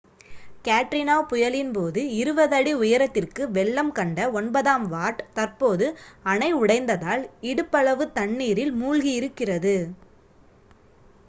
Katrina புயலின் போது 20 அடி உயரத்திற்கு வெள்ளம் கண்ட ஒன்பதாம் வார்ட் தற்போது அணை உடைந்ததால் இடுப்பளவு தண்ணீரில் மூழ்கியிருக்கிறது